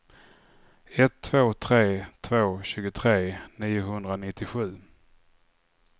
ett två tre två tjugotre niohundranittiosju